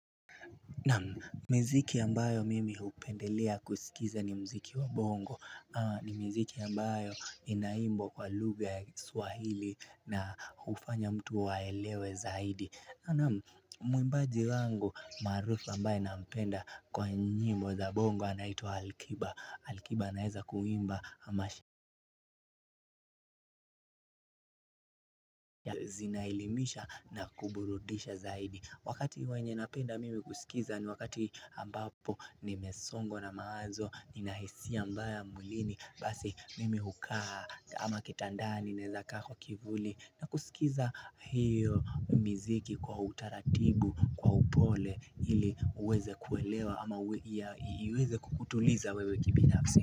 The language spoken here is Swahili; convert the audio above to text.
Naam miziki ambayo mimi hupendelea kusikiza ni mziki wa bongo ni mziki ambayo inaimbwa kwa luga ya kiswahili na hufanya mtu aelewe zaidi Naam mwimbaji wangu maarufu ambaye nampenda kwa nyimbo za bongo anaitwa Alkiba. Alkiba anaeza kuimba amashe Zinaelimisha na kuburudisha zaidi wakati wenye napenda mimi kusikiza ni wakati ambapo nimesongwa na mawazo Ninahisia mbaya mwlini basi mimi hukaa ama kitandani naeza kaa kwa kivuli na kusikiza hiyo miziki kwa utaratibu kwa upole hili uweze kuelewa ama iweze kukutuliza wewe kibinafsi.